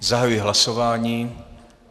Zahajuji hlasování.